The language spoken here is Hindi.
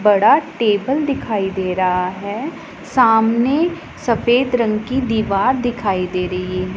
बड़ा टेबल दिखाई दे रहा है सामने सफेद रंग की दीवार दिखाई दे रही है।